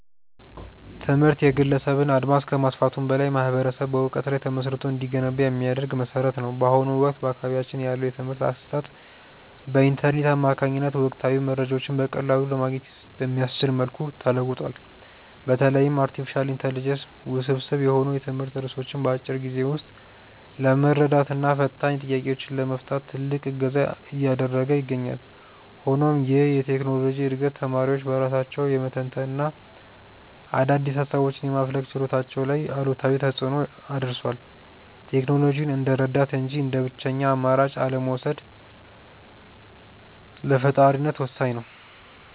ትምህርት የግለሰብን አድማስ ከማስፋቱም በላይ ማኅበረሰብ በዕውቀት ላይ ተመስርቶ እንዲገነባ የሚያደርግ መሠረት ነው። በአሁኑ ወቅት በአካባቢያችን ያለው የትምህርት አሰጣጥ በኢንተርኔት አማካኝነት ወቅታዊ መረጃዎችን በቀላሉ ለማግኘት በሚያስችል መልኩ ተለውጧል። በተለይም አርቲፊሻል ኢንተለጀንስ ውስብስብ የሆኑ የትምህርት ርዕሶችን በአጭር ጊዜ ውስጥ ለመረዳትና ፈታኝ ጥያቄዎችን ለመፍታት ትልቅ እገዛ እያደረገ ይገኛል። ሆኖም ይህ የቴክኖሎጂ ዕድገት ተማሪዎች በራሳቸው የመተንተንና አዳዲስ ሃሳቦችን የማፍለቅ ችሎታቸው ላይ አሉታዊ ተፅእኖ አድርሷል። ቴክኖሎጂውን እንደ ረዳት እንጂ እንደ ብቸኛ አማራጭ አለመውሰድ ለፈጣሪነት ወሳኝ ነው።